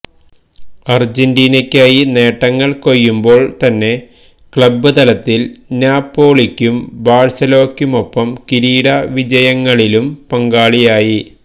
അർജന്റീനക്കായി നേട്ടങ്ങൾ കൊയ്യുമ്പോൾ തന്നെ ക്ലബ്ബ് തലത്തിൽ നാപ്പോളിക്കും ബാഴ്സലോക്കുമൊപ്പം കിരീടവിജയങ്ങളിലും പങ്കാളിയായി